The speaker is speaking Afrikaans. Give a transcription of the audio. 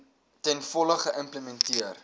ten volle geïmplementeer